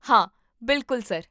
ਹਾਂ, ਬਿਲਕੁਲ, ਸਰ